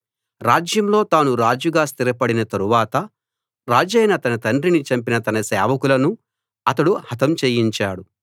రాజ్యంలో తాను రాజుగా స్థిరపడిన తరువాత రాజైన తన తండ్రిని చంపిన తన సేవకులను అతడు హతం చేయించాడు